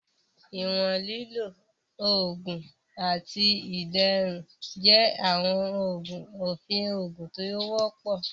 Iwọn lilo, oogun, ati iderun jẹ awọn ofin oogun ti o wọpọ.